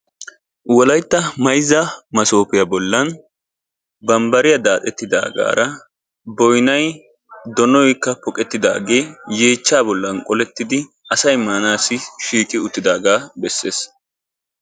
Wolaytta mayzza masopiya bollan bambbariya daaxetigaara boynna doonnaykka pooqetidaage yeechcha bollan qollettidi asay maanassi shiiqi uttidaaga beessees.